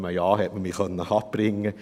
Von einem Ja konnte man mich abbringen.